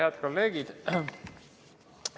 Head kolleegid!